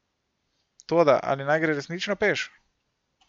Toda ali naj gre resnično peš?